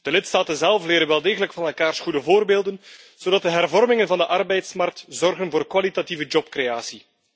De lidstaten zelf leren wel degelijk van elkaars goede voorbeelden, zodat de hervormingen van de arbeidsmarkt zorgen voor kwalitatieve jobcreatie.